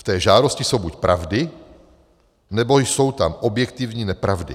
V té žádosti jsou buď pravdy, nebo jsou tam objektivní nepravdy.